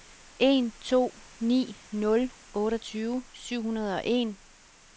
en to ni nul otteogtyve syv hundrede og en